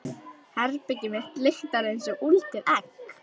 Herbergið mitt lyktar einsog úldið egg.